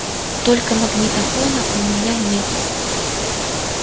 только магнитофона у меня нет